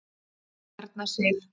Erna Sif.